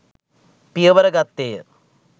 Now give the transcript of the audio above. පියවර ගත්තේය.